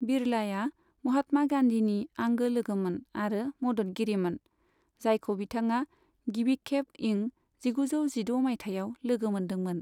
बिड़लाया महात्मा गान्धीनि आंगो लोगोमोन आरो मददगिरिमोन, जायखौ बिथाङा गिबिखेब इं जिगुजौ जिद' माइथायाव लोगो मोन्दोंमोन।